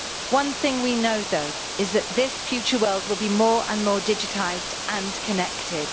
One thing we know, though, is that this future world will be more and more digitised and connected.